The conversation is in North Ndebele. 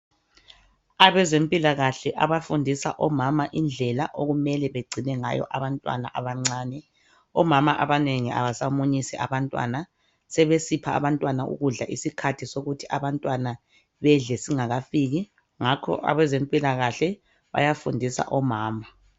Abezempilakahle abafundisa omama indlela okumele begcine ngayo abantwana abancane. Omama abanengi abasamunyisi abantwana, sebesipha abantwana ukudla isikhathi sokuthi abantwana bedle singakafiki ngakho abezempilakahle bayafundisa omama.